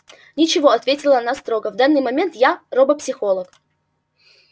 ничего ответила она строго в данный момент я робопсихолог